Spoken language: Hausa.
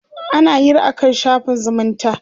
ana Hira akan shafin zumunta